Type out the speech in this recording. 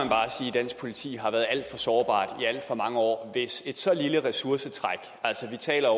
dansk politi har været alt for sårbart i alt for mange år hvis et så lille ressourcetræk altså vi taler